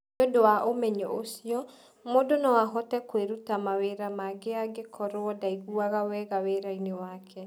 Nĩ ũndũ wa ũmenyo ũcio, mũndũ no ahote kwĩruta mawĩra mangĩ angĩkorũo ndangĩigua wega wĩra-inĩ wake